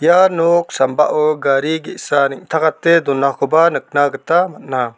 ia nok sambao gari ge·sa neng·takate donakoba nikna gita man·a.